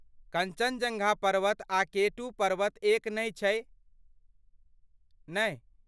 कञ्चनजङ्गा पर्वत आ केटू पर्वत एक नहि छै, नहि?